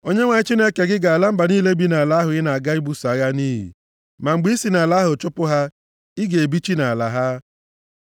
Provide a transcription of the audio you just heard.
Onyenwe anyị Chineke gị ga-ala mba niile bi nʼala ahụ ị na-aga ibuso agha nʼiyi. Ma mgbe i si nʼala ahụ chụpụ ha, ị ga-ebichi nʼala ha.